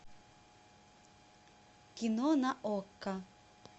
кино на окко